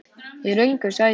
Í röngu sæti.